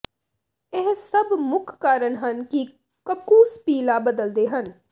ਇਹ ਸਭ ਮੁੱਖ ਕਾਰਨ ਹਨ ਕਿ ਕੱਕੂਸ ਪੀਲਾ ਬਦਲਦੇ ਹਨ